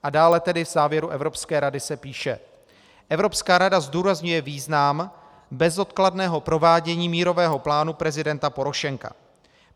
A dále tedy v závěru Evropské rady se píše: Evropská rada zdůrazňuje význam bezodkladného provádění mírového plánu prezidenta Porošenka.